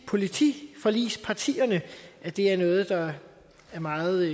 politiforligspartierne at det er noget der er meget